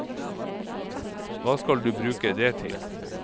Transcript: Hva skal du bruke det til?